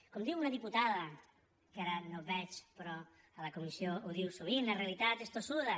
com diu una diputada que ara no veig però a la comissió ho diu sovint la realitat és tossuda